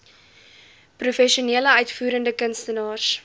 professionele uitvoerende kunstenaars